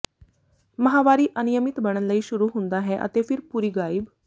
ਮਾਹਵਾਰੀ ਅਨਿਯਮਿਤ ਬਣਨ ਲਈ ਸ਼ੁਰੂ ਹੁੰਦਾ ਹੈ ਅਤੇ ਫਿਰ ਪੂਰੀ ਗਾਇਬ